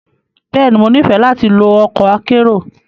Bẹ́ẹ̀ni, Mo nifẹ lati lo ọkọ akero.